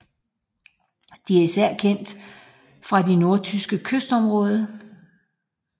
De er især kendt fra det nordtyske kystområde